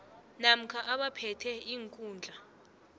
namkha abaphethe iinkhundla